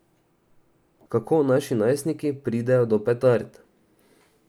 Kako naši najstniki pridejo do petard?